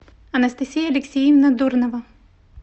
анастасия алексеевна дурнова